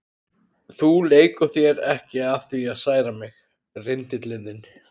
Þú leikur þér ekki að því að særa mig, rindillinn þinn.